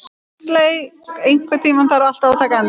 Huxley, einhvern tímann þarf allt að taka enda.